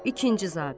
İkinci zabit.